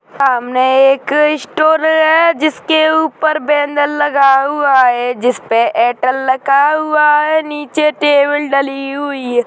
सामने एक स्टोर है जिसके ऊपर बेनर लगा हुआ है जिसपे एयरटेल लिखा हुआ है नीचे टेबल डली हुई है।